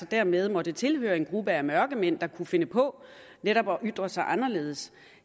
dermed måtte tilhøre en gruppe af mørkemænd der kunne finde på netop at ytre sig anderledes